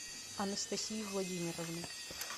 анастасии владимировны